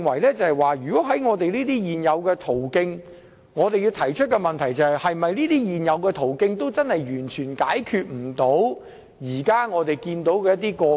因此，我認為在這些現有途徑下，我們應該提出的問題是現有途徑是否完全無法解決現時所見的個案？